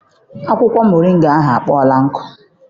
Akwụkwọ moringa ahụ akpọọla nkụ.